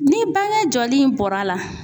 Ni bange jɔli in bɔr'a la